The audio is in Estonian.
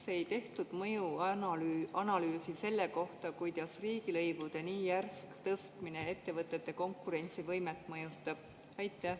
Miks ei tehtud mõjuanalüüsi selle kohta, kuidas riigilõivude nii järsk tõstmine ettevõtete konkurentsivõimet mõjutab?